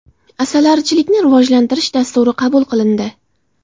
Asalarichilikni rivojlantirish dasturi qabul qilindi.